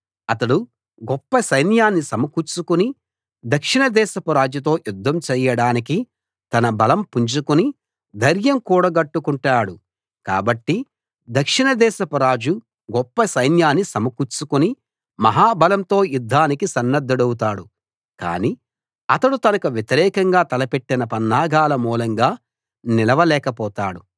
అతడు గొప్ప సైన్యాన్ని సమకూర్చుకుని దక్షిణదేశపు రాజుతో యుద్ధం చేయడానికి తన బలం పుంజుకుని ధైర్యం కూడగట్టుకుంటాడు కాబట్టి దక్షిణదేశపు రాజు గొప్ప సైన్యాన్ని సమకూర్చుకుని మహా బలంతో యుద్ధానికి సన్నద్ధుడౌతాడు కానీ అతడు తనకు వ్యతిరేకంగా తలపెట్టిన పన్నాగాల మూలంగా నిలవ లేక పోతాడు